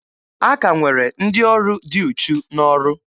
A ka nwere ndị ọrụ dị uchu n'ọrụ.